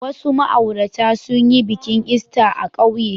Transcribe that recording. Wasu ma'aurata sun yi bikin Ista a ƙauye.